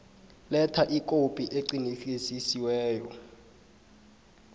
letha ikhophi eqinisekisiweko